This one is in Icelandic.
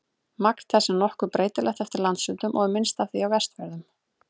Magn þess er nokkuð breytilegt eftir landshlutum og er minnst af því á Vestfjörðum.